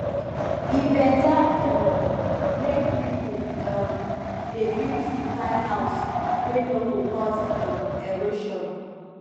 e beta um make pipo um dey build di kind house wey no go cause um erosion